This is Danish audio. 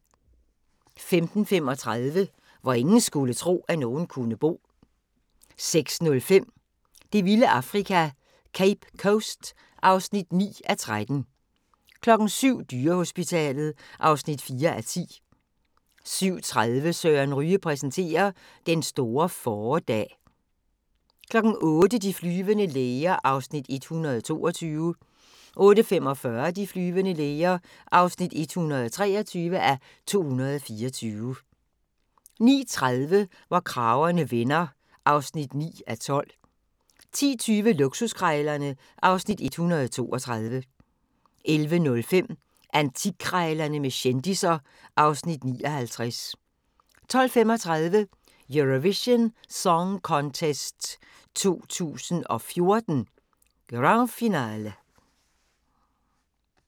05:35: Hvor ingen skulle tro, at nogen kunne bo 06:05: Det vilde Afrika - Cape Coast (9:13) 07:00: Dyrehospitalet (4:10) 07:30: Søren Ryge præsenterer: Den store fåredag 08:00: De flyvende læger (122:224) 08:45: De flyvende læger (123:224) 09:30: Hvor kragerne vender (9:12) 10:20: Luksuskrejlerne (Afs. 132) 11:05: Antikkrejlerne med kendisser (Afs. 59) 12:35: Eurovision Song Contest 2014, Grand finale